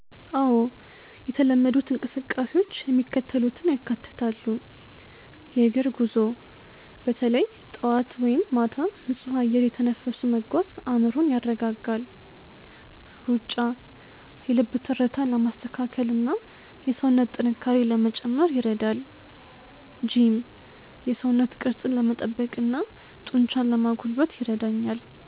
አዎ፣ የተለመዱት እንቅስቃሴዎች የሚከተሉትን ያካትታሉ፦ .የእግር ጉዞ፦ በተለይ ጠዋት ወይም ማታ ንጹህ አየር እየተነፈሱ መጓዝ አእምሮን ያረጋጋል። .ሩጫ፦ የልብ ትርታን ለማስተካከልና የሰውነት ጥንካሬን ለመጨመር ይረዳል። .ጂም፦ የሰውነት ቅርጽን ለመጠበቅና ጡንቻን ለማጎልበት ይረዳኛል።